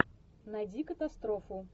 найди катастрофу